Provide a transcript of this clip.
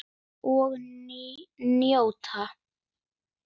Og njóta.